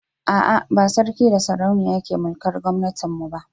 ah ah ba sarki da sarauniya ke mulkar gomnatin mu ba